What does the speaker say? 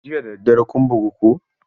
Jiya da daddare kun bugu ko?